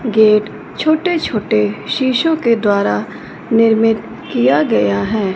Gate छोटे छोटे शीशो के द्वारा निर्मित किया गया है।